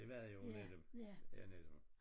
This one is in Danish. Det var jo nogen af dem ja netop